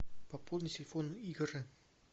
пополни телефон игоря